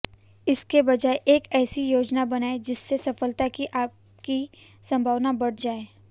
इसके बजाय एक ऐसी योजना बनाएं जिससे सफलता की आपकी संभावना बढ़ जाए